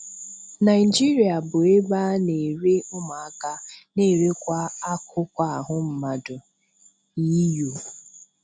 Naijiria bụ ebe a na-ere ụmụaka na-erekwa akụkụ ahụ mmadụ-EU